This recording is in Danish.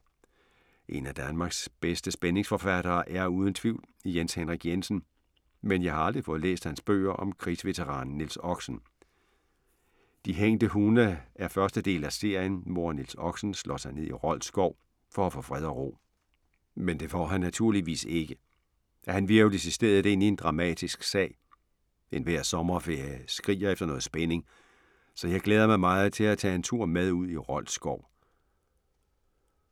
En af Danmarks bedste spændingsforfattere er uden tvivl Jens Henrik Jensen, men jeg har aldrig fået læst hans bøger om krigsveteranen Niels Oxen. De hængte hunde er første del af serien, hvor Niels Oxen slår sig ned i Rold skov for at få fred og ro. Men det får han naturligvis ikke. Han hvirvles i stedet ind i en dramatisk sag. Enhver sommerferie skriger efter noget spænding, så jeg glæder mig meget til at tage en tur med ud i Rold skov …